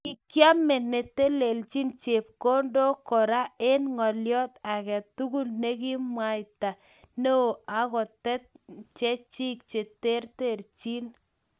Kikiame netelechin chepkondok Kora eng ngolyo age tugul ne kimwaita neo akotet chechi cheterchin